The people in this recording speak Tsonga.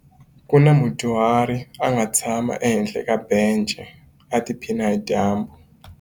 Ku na mudyuhari a nga tshama ehenhla ka bence u tiphina hi dyambu.